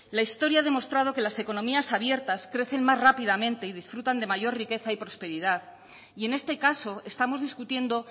la historia ha demostrado que las economías abiertas crecen más rápidamente y disfrutan de mayor riqueza y prosperidad y en este caso estamos discutiendo